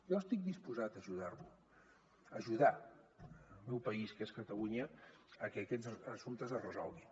jo estic disposat a ajudar lo a ajudar el meu país que és catalunya a que aquests assumptes es resolguin